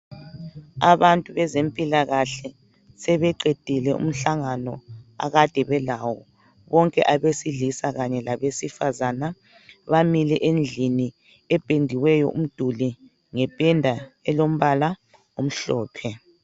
Abantu bezempilakahle sebeqedile umhlangano akade belawo bonke abesilisa Kanye labesifazana bamile endlini ependiweyo umduli ngependa elombala omhlophe